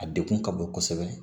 A degun ka bon kosɛbɛ